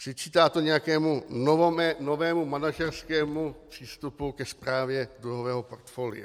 Přičítá to nějakému novému manažerskému přístupu ke správě dluhového portfolia.